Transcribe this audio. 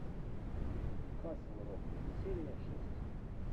касл рок серия шесть